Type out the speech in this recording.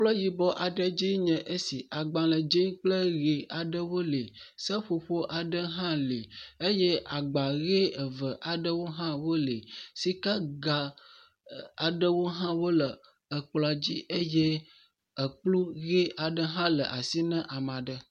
Kplɔ yibɔ aɖe dzi enye esi, agbalẽ dzee kple ʋe aɖewo le, seƒoƒo aɖe hã le eye agba ʋe eve aɖewo hã wole. Sikaga aɖewo hã wole ekplɔa dzi eye ekplu ʋe aɖe hã le asi na ame aɖe.